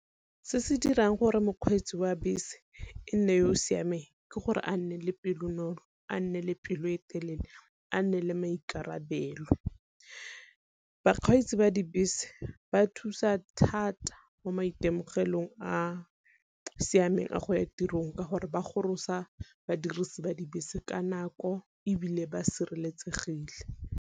Se se dirang gore mokgweetsi wa bese e nne yo o siameng ke gore a nne le pelonolo, a nne le pelo e telele, a nne le maikarabelo. Bakgweetsi ba dibese ba thusa thata mo maitemogelong a siameng a go ya tirong ka gore ba gorosa badirisi ba dibese ka nako ebile ba sireletsegile.